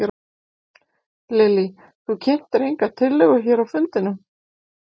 Lillý: Þú kynntir enga tillögu hér á fundinum?